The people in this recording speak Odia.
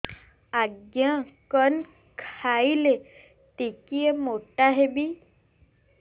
ଆଜ୍ଞା କଣ୍ ଖାଇଲେ ଟିକିଏ ମୋଟା ହେବି